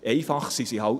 Einfach sind sie nicht;